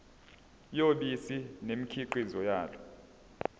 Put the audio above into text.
yobisi nemikhiqizo yalo